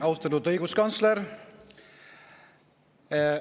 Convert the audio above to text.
Austatud õiguskantsler!